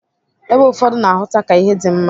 Ebe ụfọdụ na-ahụta ka ihe dị mma.